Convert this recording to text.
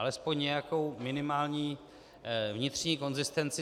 Alespoň nějakou minimální vnitřní konzistenci.